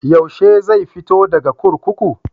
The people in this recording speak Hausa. Yaushe zai fito daga kurkuku?